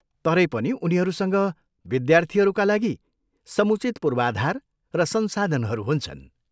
तरै पनि उनीहरूसँग विद्यार्थीहरूका लागि समुचित पूर्वाधार र संसाधनहरू हुन्छन्।